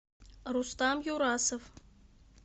рустам юрасов